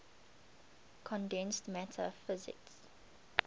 condensed matter physics